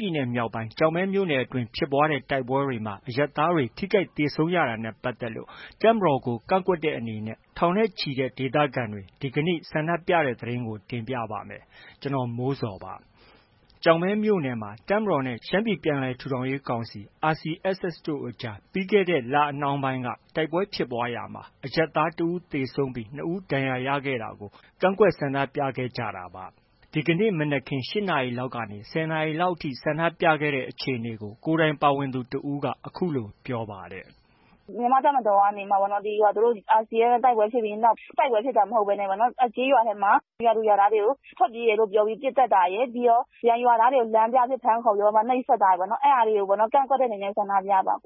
ပြည်နယ်မြောက်ပိုင်း ကျောက်မဲမြို့နယ်အတွင်း ဖြစ်ပွားတဲ့ တိုက်ပွဲတွေမှာ အရပ်သားတွေ ထိခိုက် သေဆုံးရတာနဲ့ ပတ်သက်လို့ တပ်မတော်ကို ကန့်ကွက်တဲ့အနေနဲ့ ထောင်နဲ့ချီတဲ့ ဒေသခံတွေ ဒီကနေ့ ဆန္ဒပြတဲ့ သတင်းကို ဗွီအိုအေမြန်မာပိုင်းသတင်းထောက် ကိုမိုးဇော်က တင်ပြပေးပါမယ်။ ကျောက်မဲမြို့နယ်မှာ တပ်မတော်နဲ့ ရှမ်းပြည်ပြန်လည်ထူထောင်ရေးကောင်စီ RCSS တို့ကြား ပြီးခဲ့တဲ့လနှောင်းပိုင်းတုန်းက တိုက်ပွဲဖြစ်ပွားရာမှာ အရပ်သား တစ် ဦး သေဆုံးပြီး နှစ် ဦးဒဏ်ရာရခဲ့တာကို ကန့်ကွက်ဆန္ဒပြခဲ့ကြတာပါ။ ဒီကနေ့ မနက်ခင်းပိုင်း ၈ နာရီလောက်ကနေ ၁၀ နာရီကျော်လောက်အထိ ဆန္ဒပြခဲ့တဲ့ အခြေအနေကိုတော့ ကိုယ်တိုင်ပါဝင်ခဲ့သူတဦးက အခုလို ပြောပါတယ်။ “မြန်မာ့တပ်မတော်ကပေါ့ သူတို့ RCSS နဲ့ တိုက်ပွဲဖြစ်ပြီးတဲ့နောက်၊ တိုက်ပွဲဖြစ်တာ မဟုတ်ဘဲနဲ့ သူတို့ ကျေးရွာထဲမှာ ရွာသူရွာသားတွေကို ထွက်ပြေးတယ်လို့ ပြောပြီး ပစ်သတ်တာရယ်။ နောက် ရွာသားတွေကို လမ်းပြအဖြစ် ဖမ်းခေါ်ပြီးမှ နှိပ်စက်တာပေါ့နော်... အဲဒါတွေကို ကန့်ကွက်တဲ့အနေနဲ့ ဆန္ဒပြတာ။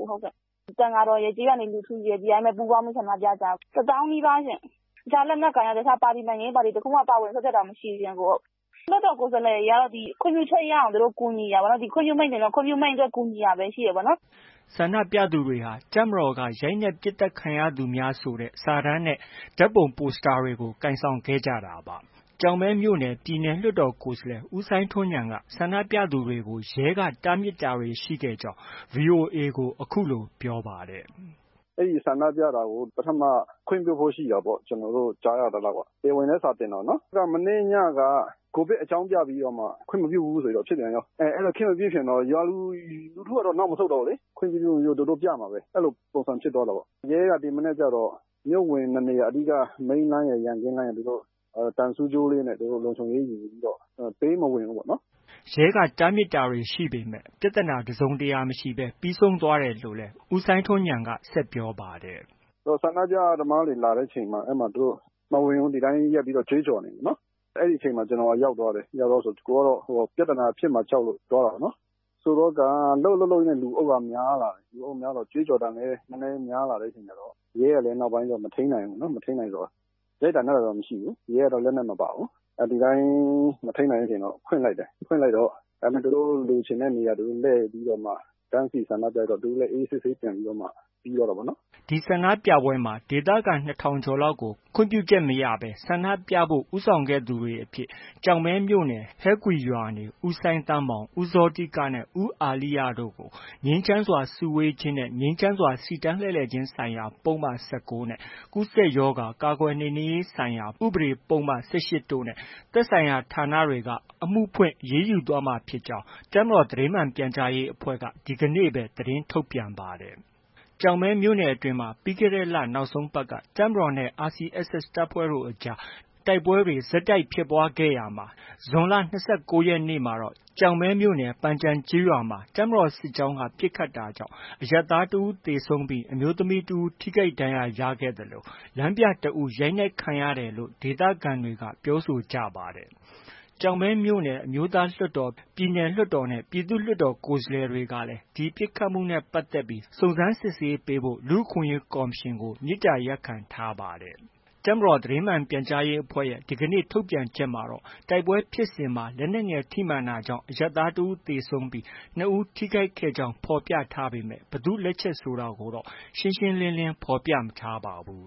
သံဃာတော်ရယ်၊ ကျေးရွာနေ လူထုရယ် ပူးပေါင်းပြီးတော့ ဆန္ဒပြတာ။ ၁၀,၀၀၀ နီးပါးရှင့်။ တခြားလက်နက်ကိုင်၊ တခြား နိုင်ငံရေးပါတီ တစ်ခုမှ ပါဝင်စွက်ဖက်တာ မရှိဘူးရှင့်။ လွှတ်တော်ကိုယ်စားလှယ်တွေကတော့ ခွင့်ပြုချက် ရအောင်ကူညီတာပေါ့။ ခွင့်ပြုမိန့်ဆိုရင်တော့ ဒီခွင့်ပြုမိန့်အတွက် ကူညီတာပဲ ရှိတယ်ပေါ့နော်။” ဆန္ဒပြသူတွေဟာ တပ်မတော်က ရိုက်နှက်ပစ်သတ်ခံရသူများဆိုတဲ့ စာတမ်းနဲ့ ဓါတ်ပုံပိုစတာတွေကို ကိုင်ဆောင်ခဲ့ကြတာပါ။ ကျောက်မဲမြို့နယ် ပြည်နယ်လွှတ်တော်ကိုယ်စားလှယ် ဦးစိုင်းထွန်းဉာဏ်ကလည်း ဆန္ဒပြသူတွေကို ရဲက တားမြစ်တာတွေ ရှိခဲ့ကြောင်း VOA ကို အခုလိုပြောပါတယ်။ “အဲဒီဆန္ဒပြတာကို ပထမ ခွင့်ပြုဖို့ ရှိတာပေါ့ ကျနော်တို့ ကြားရသလောက်က။ တရားဝင်လည်း စာတင်တာကို။ မနေ့ညက COVID အကြောင်းပြပြီးတော့မှ ခွင့်မပြုဘူးဆိုဖြစ်ပြန်ရော၊ အဲလို ခွင့်မပြုချင်တော့ ရွာလူထုကတော့ နောက်မဆုတ်တော့ဘူးလေ ခွင့်မပြုလည်း ပြမှာပဲ။ အဲလို ပုံစံဖြစ်သွားတာ။ ရဲက ဒီမနက်ကျတော့ မြို့ဝင် နှစ် နေရာ၊ Main လမ်းရယ်၊ ရန်ကင်းလမ်းရယ် သူတို့ သံဆူးကြိုးလေးနဲ့ သူတို့ လုံခြုံရေးယူပြီးတော့ ပေးမဝင်ဘူးပေါ့နော်။” ရဲတပ်ဖွဲ့က တားမြစ်တာတွေ ရှိခဲ့ပေမဲ့ ပြဿနာ တစ်စုံတစ်ရာ မရှိဘဲ ပြီးဆုံးခဲ့တယ်လို့လည်း ဦးစိုင်းထွန်းဉာဏ်က ပြောပါတယ်။ “ဆန္ဒပြသမားတွေ လာတဲ့အချိန်မှာ သူတို့ မဝင်ဘူး၊ ဒီတိုင်းရပ်ပြီးကြွေးကြော်နေတယ်။ အဲဒီအချိန်မှာ ကျနော် ရောက်သွားတယ်။ ကိုယ်ကတော့ ပြဿနာဖြစ်မှာ ကြောက်လို့ သွားတာပေါ့နော်။ ဆိုတော့ကာ လှုပ်လှုပ်လှုပ်လှုပ်နဲ့ လူအုပ်က များလာတယ်။ ကြွေးကြော်သံလည်း များလာတဲ့အခါကျတော့ ရဲကလည်း နောက်ပိုင်းကျ မထိန်းနိုင်ဘူး။ မထိန်းနိုင်တဲ့အခါကျ ရိုက်တာနှက်တာတော့ မရှိဘူး။ ရဲကတော့ လက်နက်မပါဘူး။ ဒီတိုင်း မထိန်းနိုင်တဲ့အချိန်က ဖွင့်လိုက်တယ်။ ဖွင့်လိုက်တော့ သူတို့ လိုချင်တဲ့နေရာ သူတို့ လှည့်ပြီးတော့မှ တန်းစီဆန္ဒပြပြီးတော့မှ သူတို့လည်း အေးအေးဆေးဆေး ပြန်ပြီးတော့မှ ပြီးသွားတာပေါ့နော်။” ဒီနေ့ဆန္ဒပြပွဲမှာ ဒေသခံ ၂,၀၀၀ ကျော်ကို ခွင့်ပြုချက်မရဘဲ ဆန္ဒပြဖို့ ဦးဆောင်ခဲ့သူတွေအဖြစ် ကျောက်မဲမြို့နယ် ဟဲကွီရွာနေ ဦးစိုင်းသန်းမောင်၊ ဦးဇောတိကနဲ့ ဦးအာလိယျတို့ကို ငြိမ်းချမ်းစွာ စုဝေးခြင်းနဲ့ ငြိမ်းချမ်းစွာ စီတန်းလှည့်လည်ခြင်းဆိုင်ရာ ပုဒ်မ ၁၉ နဲ့ ကူးစက်ရောဂါ ကာကွယ်နှိမ်နင်းရေးဆိုင်ရာ ဥပဒေပုဒ်မ ၁၈ တို့နဲ့ သက်ဆိုင်ရာဌာနတွေက အမှုဖွင့်အရေးယူသွားမှာဖြစ်ကြောင်းလည်း ဒီကနေ့ပဲ တပ်မတော်သတင်းမှန်ပြန်ကြားရေးအဖွဲ့က သတင်းထုတ်ပြန်ပါတယ်။ ကျောက်မဲမြို့နယ်အတွင်းမှာ ပြီးခဲ့တဲ့လ နောက်ဆုံးပတ်မှာ တပ်မတော်နဲ့ RCSS တပ်ဖွဲ့တွေအကြား တိုက်ပွဲတွေ ဆက်တိုက်ဆိုသလို ဖြစ်ပွားခဲ့ရာမှာ ဇွန်လ ၂၉ ရက်နေ့မှာတော့ ကျောက်မဲမြို့နယ် ပန်ကျင်ကျေးရွာမှာ တပ်မတော်စစ်ကြောင်းက ပစ်ခတ်တာကြောင့် အရပ်သားတစ်ဦး သေဆုံးခဲ့ပြီး အမျိုးသမီး တစ်ဦး ထိခိုက်ဒဏ်ရာရခဲ့သလို လမ်းပြတစ်ဦး ရိုက်နှက်ခံရတယ်လို့ ဒေသခံတွေက ပြောဆိုကြသလို ကျောက်မဲမြို့နယ်က အမျိုးသားလွှတ်တော်၊ ပြည်နယ်လွှတ်တော်နဲ့ ပြည်သူ့လွှတ်တော် ကိုယ်စားလှယ်တွေကလည်း ပစ်ခတ်မှုနဲ့ပတ်သက်ပြီး စုံစမ်းစစ်ဆေးပေးဖို့ လူ့အခွင့်အရေးကော်မရှင်ကို မေတ္တာရပ်ခံထားပါတယ်။ တပ်မတော်သတင်းမှန်ပြန်ကြားရေးအဖွဲ့ရဲ့ ဒီကနေ့ ထုတ်ပြန်ချက်မှာတော့ တိုက်ပွဲဖြစ်ပွားစဉ်မှာ လက်နက်ငယ်ထိမှန်တာကြောင့် အရပ်သား တစ်ဦးသေဆုံးပြီး နှစ်ဦး ထိခိုက်ခဲ့ကြောင်း ဖော်ပြထားပေမဲ့ ဘယ်သူ့လက်ချက်ဆိုတာတော့ ရှင်းရှင်းလင်းလင်း ဖော်ပြမထားပါဘူး